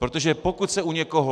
Protože pokud se u někoho...